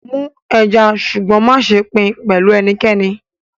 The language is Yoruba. Smoke the fish but do not share it with anyone